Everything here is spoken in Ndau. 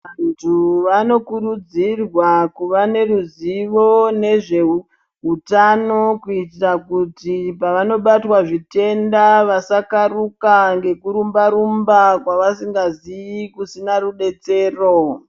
Vantu vanokurudzira kuvaneruzivo nezveutano kuitira kuti pavanobatwa zvitenda vasakaruka nekurumba-rumba kwavasingazivi kusina rubetsero.